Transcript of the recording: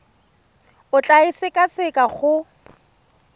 o tla e sekaseka go